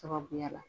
Sababuya la